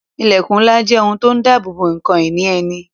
Ilẹkun ńlá jẹ́ ohun tó ń dabobo ǹkan ìní ẹni